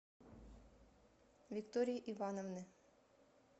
виктории ивановны